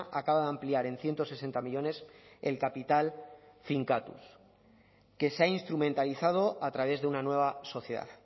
acaba de ampliar en ciento sesenta millónes el capital finkatuz que se ha instrumentalizado a través de una nueva sociedad